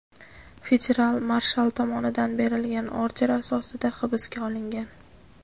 federal marshal tomonidan berilgan order asosida hibsga olingan.